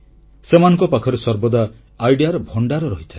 ସେମାନଙ୍କ ପାଖରେ ସର୍ବଦା ସୂନେଲୀ ପରିକଳ୍ପନାର ଭଣ୍ଡାର ରହିଥାଏ